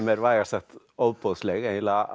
er vægast sagt ofboðsleg eiginlega